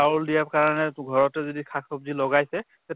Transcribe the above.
চাউল দিয়াৰ কাৰণে ঘৰতো যদি শাক চব্জি লগাইছে তে